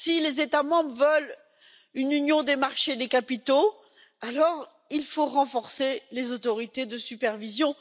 Si les États membres veulent une union des marchés des capitaux, alors il faut renforcer les autorités de supervision.